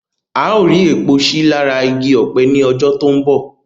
A ó rí èpò sí lára igi Ọ̀pẹ ní ọjọ́ tó ń bọ̀